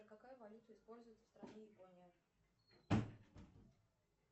какая валюта используется в стране япония